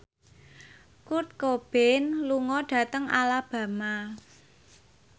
Kurt Cobain lunga dhateng Alabama